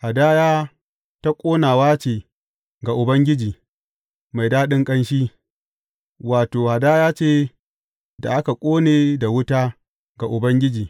Hadaya ta ƙonawa ce ga Ubangiji, mai daɗin ƙanshi, wato, hadaya ce da aka ƙone da wuta ga Ubangiji.